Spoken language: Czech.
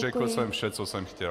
Řekl jsem vše, co jsem chtěl.